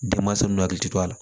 Denmansa ninnu hakili tɛ to a la